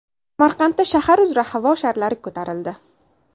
Samarqandda shahar uzra havo sharlari ko‘tarildi .